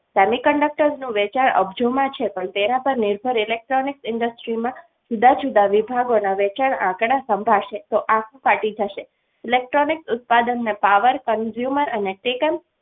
semiconductor નું વેચાણ આ બાજુમાં છે પણ તેના પર નિર્ભર electronic industries માં જુદા જુદા વેચાણ વિભાગ ના આંકડા સંભળાશે તો આંખો ફાટી જશે electronic ઉત્પાદનને power consumer અને ટેકન